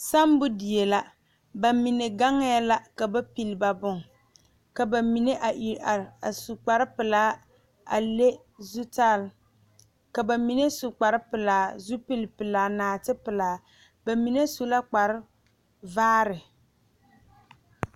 Saambo die la ba mine gaŋɛ la ka ba pilii ba ba bon ka ba mine a Iri are a su kpare pɛlaa a leŋ zutarre ka ba mine su kpare pɛlaa, zupili pɛlaa naate pɛlaa ba mine su la kpar vaare .